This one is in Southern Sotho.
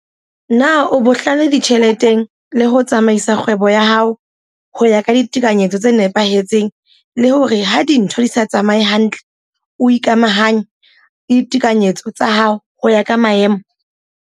Na o bohlale ditjheleteng le ho tsamaisa kgwebo ya hao ho ya ka ditekanyetso tse nepahetseng le hore ha dintho di sa tsamaye hantle o ikamahanya le ditekanyetso tsa hao ho ya ka maemo?